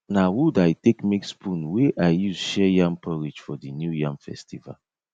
na wood i take make spoon wey i use share yam porridge for the new yam festival